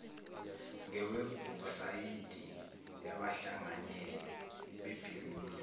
ngewebhusayidi yabahlanganyeli bebhizinisi